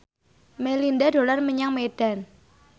Melinda dolan menyang Medan